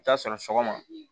I bi taa sɔrɔ sɔgɔma